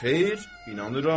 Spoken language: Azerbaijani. Xeyr, inanıram.